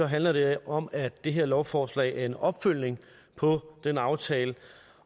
handler det om at det her lovforslag er en opfølgning på den aftale